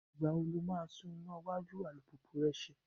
Ìgbà wo lo máa tún iná iwájú alùpùpù rẹ ṣe?